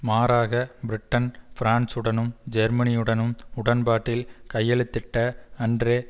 மாறாக பிரிட்டன் பிரான்சுடனும் ஜேர்மனியுடனும் உடன்பாட்டில் கையெழுத்திட்ட அன்றே